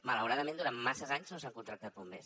malauradament durant masses anys no s’han contractat bombers